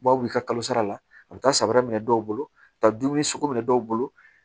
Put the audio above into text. U b'a wuli ka kalo sara la a bɛ taa sabara minɛ dɔw bolo ka taa dumuni sugu minɛ dɔw bolo